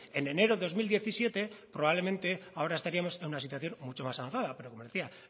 en enero de dos mil diecisiete probablemente ahora estaríamos en una situación mucho más avanzada pero como le decía